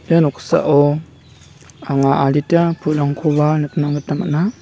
ia noksao anga adita pulrangkoba nikna gita man·a.